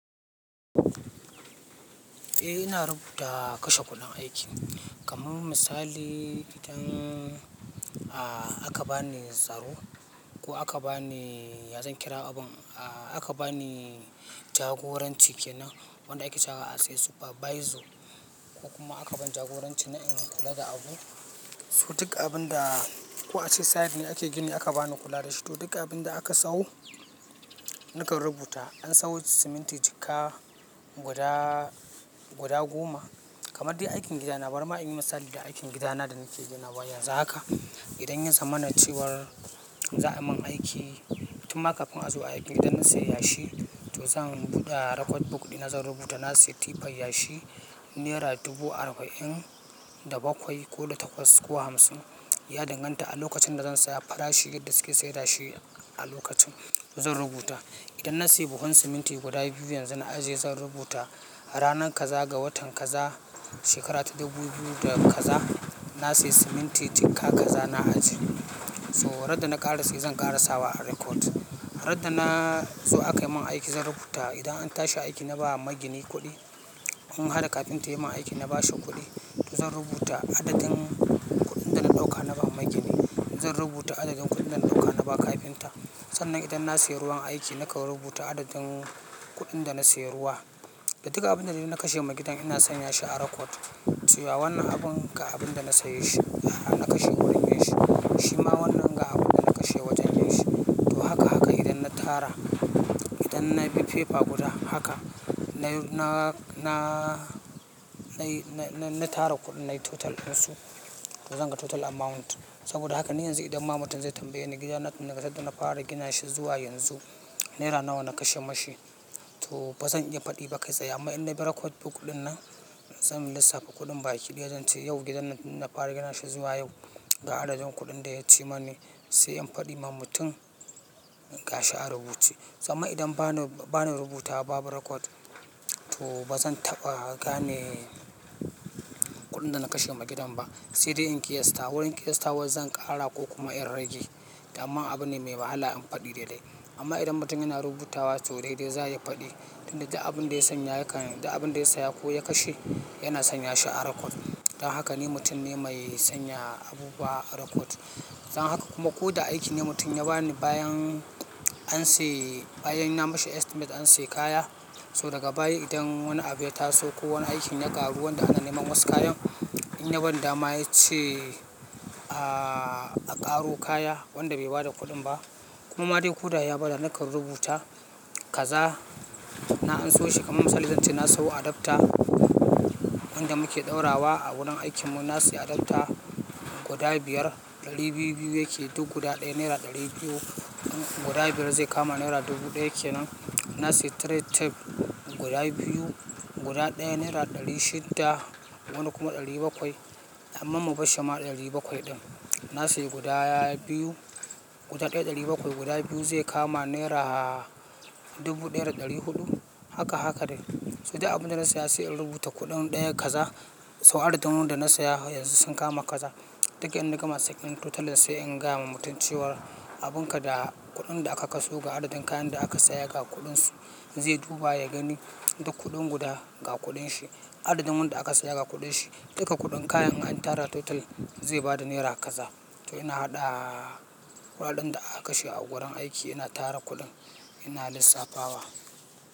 Eh ina rubuta kashe kuɗin aiki. Kaman misali idan, a, aka bani tsaro ko aka bani ya zan kira abun, a, aka bani jagoranci kenan wanda ake sawa as a supervisor ko kuma aka ban jagoranci na in kula da abu. So duk abun da ko a ce site ne ake gini aka bani kula da shi to duk abin da aka sawo nakan rubuta. An sawo siminti jikka guda, guda goma kamar dai aikin gidana. Barima in yi misali da aikin gidana da nake ginawa yanzu haka. Idan ya zama na cewar za a man aiki, tun ma kafin a zo aiki idan na sayi yashi to zan buɗe record book ɗina zan rubuta na sayi tifan yashi nera dubu arba'in da bakwai ko da takwas ko hamsin. Ya danganta a lokacin da zan saya farashi yadda suke saida shi a lokacin zan rubuta. Idan na sayi buhun siminti guda biyu yanzu na ajiye zan rubuta ranar kaza ga watan kaza shekara ta dubu biyu da kaza na sayi siminti jikka kaza na ajiye. So radda na ƙara saye zan ƙara sawa a record. Radda na, zo aka yi min aiki zan rubuta. Idan an tashi aiki na ba ma gini kuɗi. Mun haɗa kafinta ya yi min aiki na bashe kuɗi to zan rubuta adadin kuɗin da na ɗauka na ba ma gini. Zan rubuta adadin kuɗin da na ɗauka na ba kafinta. Sannan idan na sayi ruwan aiki nakan rubuta adadin kuɗin da na sayi ruwa. Da duk abin da dai na kashe ma gidan ina sanya shi a record. Cewa wannan abun ga abun da na saye shi, hanna kashe wurin yin shi. Shi ma wannan ga abun da na kashe wajen yashi. To haka haka idan na tara, idan na bi fefa guda haka na, na, na, na yi, na tara kuɗin na yi total ɗinsu to zan ga total amount. Saboda haka ni yanzu idan ma mutum zai tambaye ni gidana tunda ga sadda na fara gina shi zuwa yanzu nera nawa na kashe mashi to ba zan iya faɗi ba kai tsaye. Amma idan na bi record book ɗin nan zan lissafa kuɗin baki. Kilan zan ce yau gidan tunda na fara gina shi zuwa yau ga adadin kuɗin da ya ci mani sai in faɗi ma mutum ga shi a rubuce. Saman idan ba na, ba na rubuta babu record to ba zan taɓa gane kuɗin da na kashe ma gidan ba sai dai in ƙiyasta. Wurin ƙiyastawa zan ƙara ko kuma in rage. Amma abune mai wahala in faɗi daidai. Amma idan mutum yana rubutawa to daidai za ya faɗi. Tun da duk abun da ya sanya ya kan duk abun da ya saya ko ya kashe yana sanya shi a record. Don haka ni mutum ne mai sanya abubuwa a record. Don haka kuma ko da aiki ne mutum ya ba ni bayan an sayi, bayan na mashi estimate an sayi kaya so daga baya idan wani abu ya taso ko wani aikin ya ƙaru wanda ana neman wasu kayan. In ya ban dama ya ce, a, a ƙaro kaya wanda bai bada kuɗin ba kuma ma dai ko da ya bada nakan rubuta kaza na anso shi. Kaman misali zan ce na sayo adapter wanda muke ɗaura wa a wurin aikinmu. Na sayi adapter guda biyar ɗari biyu, biyu yake duk guda ɗaya nera ɗari biyu. Guda biyar zai kama nera dubu ɗaya kenan. Na sayi trade tape guda biyu guda ɗaya naira ɗari shidda wani kuma ɗari bakwai amma mu bashi ma ɗari bakwai ɗin. Na sayi guda biyu guda ɗaya ɗari bakwai guda biyu zai kama nera dubu ɗaya da ɗari huɗu. Haka haka dai. So duk abun da na saya sai in rubuta kuɗin ɗaya kaza so adadin wanda na saya yanzu sun kama kaza. Duka in na gama sai in totaling sai in gaya ma mutum cewa abun ka da kuɗin da aka kasu ga adadin kayan da aka saya ga kuɗinsu zai duba ya gani duk kuɗin guda ga kuɗin shi. Adadin wanda aka saya ga kuɗin shi. Duka kuɗin kayan in an tara total zai bada naira kaza. To ina haɗa kuɗaɗen da aka kashe a gurin aiki ina tara kuɗin ina lissafawa.